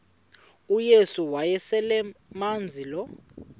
uyesu wayeselemazi lo